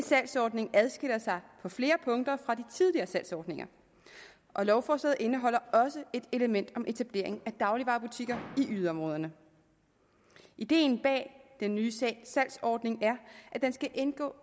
salgsordning adskiller sig på flere punkter fra de tidligere salgsordninger og lovforslaget indeholder også et element om etablering af dagligvarebutikker i yderområderne ideen bag den nye salgsordning er at den skal indgå